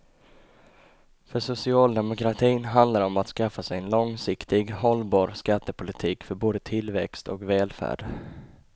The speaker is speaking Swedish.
För socialdemokratin handlar det om att skaffa sig en långsiktigt hållbar skattepolitik för både tillväxt och välfärd.